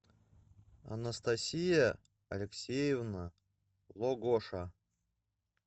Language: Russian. анастасия алексеевна логоша